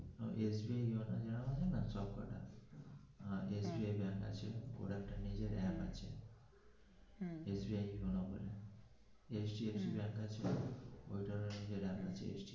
SBI সব কোটা SBI আছে ওর একটা নিজের app আছে.